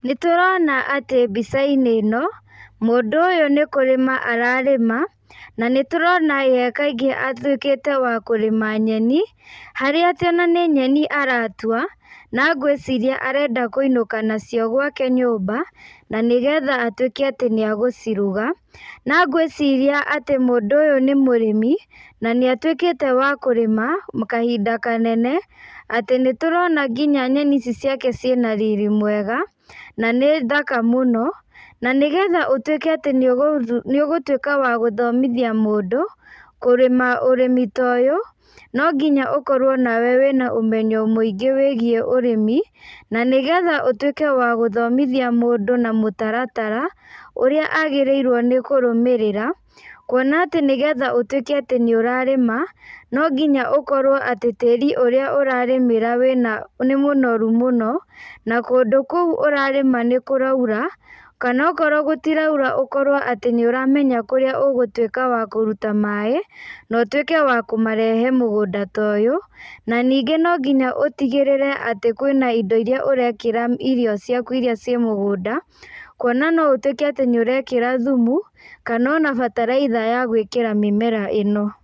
Nĩ tũrona atĩ mbica-inĩ ĩno, mũndũ ũyũ nĩ kũrĩma ararĩma, na nĩ tũrona ye kaingĩ atuĩkĩte wa kũrĩma nyeni, harĩa atĩ ona nĩ nyeni aratua, na ngwĩciria arenda kũinũka nacio gwake nyũmba, na nĩgetha atuĩke atĩ nĩ agũciruga. Na ngwĩciria atĩ mũndũ ũyũ nĩ mũrĩmi, na nĩ atuĩkĩte wa kũrĩma, kahinda kanene, atĩ nĩ tũrona nginya nyeni ici ciake ciĩna riri mwega, na nĩ thaka mũno. Na nĩgetha ũtuĩke atĩ nĩ ũgũtuĩka wa gũthomithia mũndũ, kũrĩma ũrĩmi ta ũyũ, no nginya ũkorwo nawe wĩna ũmenyo mũingĩ wĩgiĩ ũrĩmi, na nĩgetha ũtuĩke wa gũthomithia mũndũ na mũtaratara, ũrĩa agĩrĩirwo nĩ kũrũmĩrĩra, kuona atĩ nĩgetha ũtuĩke atĩ nĩ ũrarĩma, no nginya ũkorwo atĩ tĩri ũrĩa ũrarĩmĩra wĩnanĩ mũnoru mũno, na kũndũ kũu ũrarĩma nĩ kũraura, kana okorwo gũtiraura ũkorwo atĩ nĩ ũramenya kũrĩa ũgũtuĩka wa kũruta maĩ, na ũtuĩke wa kũmarehe mũgũnda ta ũyũ. Na ningĩ no nginya ũtigĩrĩre atĩ kwĩna indo irĩa ũrekĩra irio ciaku irĩa ciĩ mũgũnda, kuona no ũtuĩke atĩ nĩ ũrekĩra thumu, kana ona bataraitha ya gwĩkĩra mĩmera ĩno.